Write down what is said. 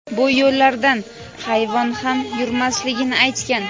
bu yo‘llardan hayvon ham yurmasligini aytgan.